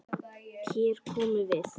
Hér komum við!